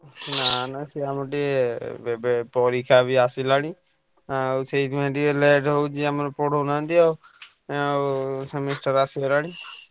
ନା ନା ସେ ଆମର ଟିକେ ବେ ବେ ପରୀକ୍ଷା ବି ଆସିଲାଣି ଆଉ ସେଇଥିପାଇଁ ଟିକେ late ହଉଛି ଆମର ପଢଉନାହାନ୍ତି ଆଉ ଆଉ semester ଆସିଗଲାଣି ।